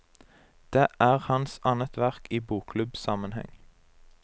Det er hans annet verk i bokklubbsammenheng.